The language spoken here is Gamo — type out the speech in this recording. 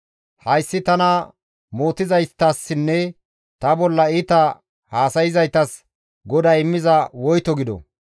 Hayssi tana mootizaytassinne ta bolla iita haasayzaytas GODAY immiza woyto gido!